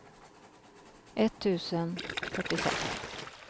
etttusen fyrtiosex